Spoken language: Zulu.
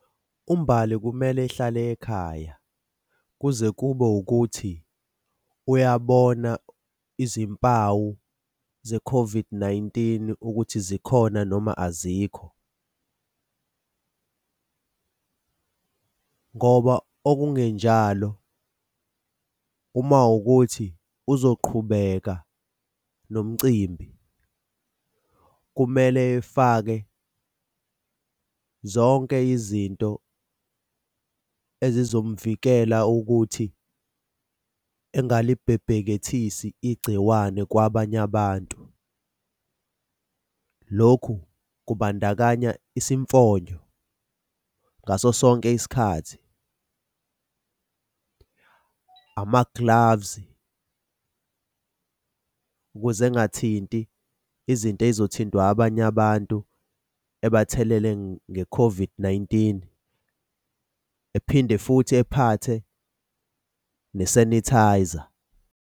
UMbali kumele ehlale ekhaya kuze kube ukuthi uyabona izimpawu ze-COVID-19 ukuthi zikhona noma azikho ngoba okungenjalo uma wukuthi uzoqhubeka nomcimbi, kumele efake zonke izinto ezizomvikela ukuthi engalibhebhekethisi igciwane kwabanye abantu. Lokhu kubandakanya isimfonyo ngaso sonke isikhathi, amaglavuzi ukuze engathinti izinto ey'zothintwa abanye abantu abathelele nge-COVID-19 ephinde futhi ephathe ne-sanitiser.